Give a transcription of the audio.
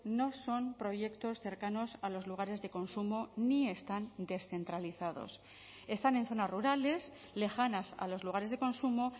no son proyectos cercanos a los lugares de consumo ni están descentralizados están en zonas rurales lejanas a los lugares de consumo